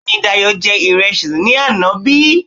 Bẹ́èni, Dayò jẹ ìrẹsì ní àná bí